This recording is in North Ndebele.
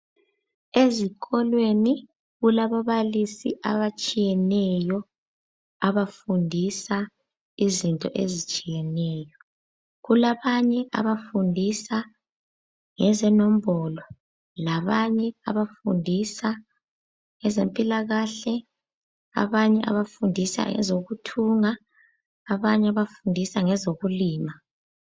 Ezikolweni kulababalisi abatshiyeneyo, abafundisa izinto ezitshiyeneyo. Kulabanye abafundisa ngezenombolo, labanye abafundisa ngezempilakahle, abanye abafundisa ngezokuthunga, abanye abafundisa ngezokulima.